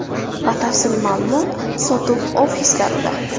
Batafsil ma’lumot sotuv ofislarida!